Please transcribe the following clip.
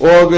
og